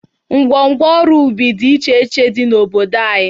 Ngwo ngwo ọrụ ubi dị iche iche iche dị n'obodo anyị.